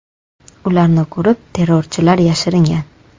Ularni ko‘rib, terrorchilar yashiringan.